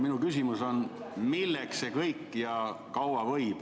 Ma küsin, et milleks see kõik ja kaua võib.